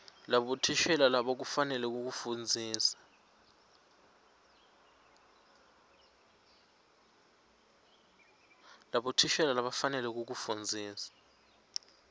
labothishela labakufanele kufundzisa